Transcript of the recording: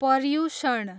Paryushan